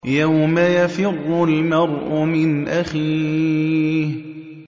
يَوْمَ يَفِرُّ الْمَرْءُ مِنْ أَخِيهِ